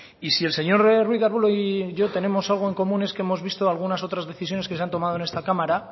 y si el señor ruíz de arbulo y yo tenemos algo tenemos algo en común es que hemos visto algunas otras decisiones que se ha tomado en esta cámara